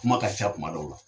Kuma ka sa kuma dɔw la.